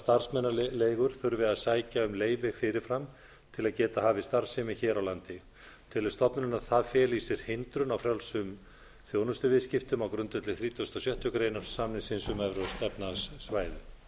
starfsmannaleigur þurfi að sækja um leyfi fyrirfram til að geta hafið starfsemi hér á landi telur stofnunin að það feli í sér hindrun á frjálsum þjónustuviðskiptum á grundvelli þrítugasta og sjöttu grein samningsins um evrópska efnahagssvæðið